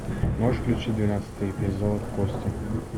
можешь включить двенадцатый эпизод кости